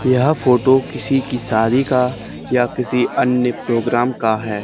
यह फोटो किसी की शादी का या किसी अन्य प्रोग्राम का है।